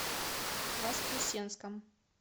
воскресенском